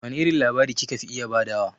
Wane irin labari ki ka fi iya ba da wa?